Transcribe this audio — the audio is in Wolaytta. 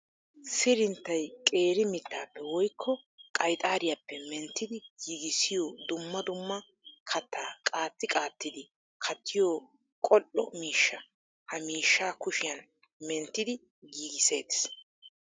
Sirinttay qeeri mittappe woykko qayxxariyappe menttiddi giigisiyo dumma dumma katta qaatti qaattiddi kattiyo qoli'o miishsha. Ha miishsha kushiyan menttiddi giigisetees.